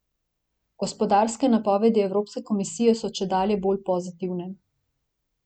Gospodarske napovedi evropske komisije so čedalje bolj pozitivne.